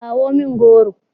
kawo min goro!